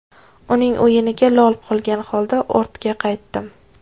Uning o‘yiniga lol qolgan holda ortga qaytdim.